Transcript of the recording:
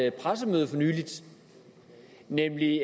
et pressemøde for nylig